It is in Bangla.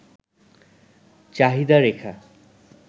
চাহিদা রেখা